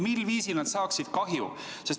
Mil viisil nad saaksid kahju?